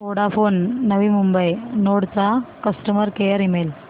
Vodafone Navi Mumbai node चा customer care email